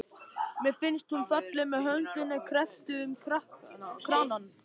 Mér finnst hún falleg með höndina kreppta um kranann.